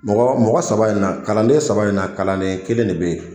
Mɔgɔ mɔgɔ saba in na kalanen saba in na kalanen kelen ne bɛ ye.